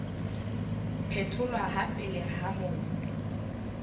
phetholwa ha pele ha mobu